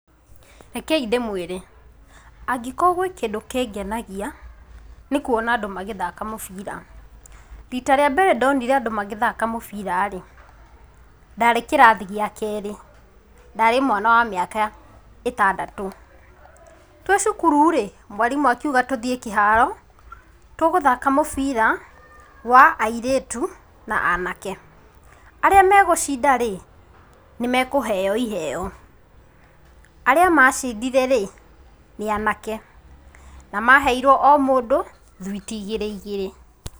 Rekei ndĩmwĩre, angĩkorwo gwĩ kĩndũ kenganagia nĩkũona andũ makĩthaka mũbira, rita rĩa mbere ndonire andũ makĩthaka mũbira rĩ ,ndarĩ kĩrathi gĩa kerĩ ndarĩ wa mĩaka ĩtandatũ.Twĩcukuru rĩ, mwarimũ akiuga tũthiĩ kĩharo, tũgũthaka mũbira wa airĩtu na anake, arĩa megũcinda rĩ nĩmekũheo iheo, arĩa macindire rĩ nĩ anake na maheirwe omũndũ thwiti igĩrĩ igĩrĩ .